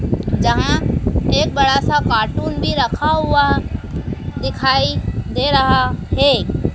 जहां एक बड़ा सा कार्टून भी रखा हुआ दिखाई दे रहा है।